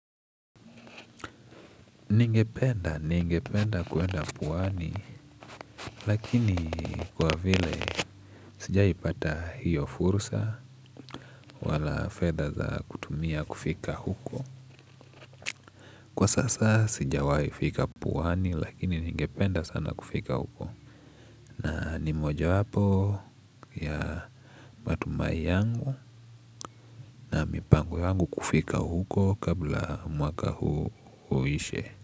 Ningependa, ningependa kuenda pwani lakini kwa vile sijaipata hiyo fursa wala fedha za kutumia kufika huko. Kwa sasa sijawahi fika pwani lakini ningependa sana kufika huko na ni mojawapo ya matumai yangu na mipango yangu kufika huko kabla mwaka huu uishe.